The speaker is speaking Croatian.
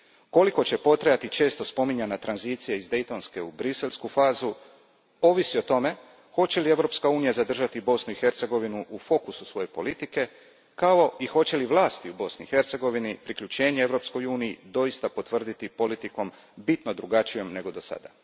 Koliko će potrajati često spominjana tranzicija iz daytonske u briselsku fazu, ovisi o tome hoće li Europska unija zadržati Bosnu i Hercegovinu u fokusu svoje politike, kao i hoće li vlasti u Bosni i Hercegovini priključenje Europskoj uniji doista potvrditi politikom bitno drugačijom nego do sada.